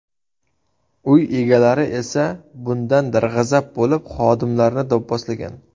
Uy egalari esa bundan darg‘azab bo‘lib, xodimlarni do‘pposlagan.